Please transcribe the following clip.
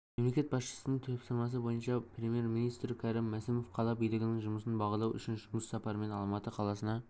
мемлекет басшысының тапсырмасы бойынша премьер-министрі кәрім мәсімов қала билігінің жұмысын бағалау үшін жұмыс сапарымен алматы қаласына